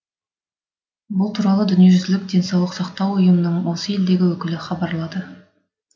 бұл туралы дүниежүзілік денсаулық сақтау ұйымының осы елдегі өкілі хабарлады